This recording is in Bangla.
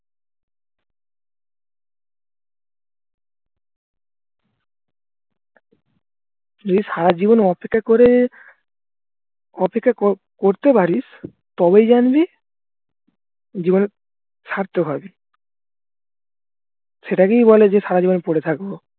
যদি সারাজীবন অপেক্ষা করে অপেক্ষা করতে পারিস তবেই জানবি জীবন সার্থক হবে সেটাকেই বলে যে সারাজীবন পরে থাকবো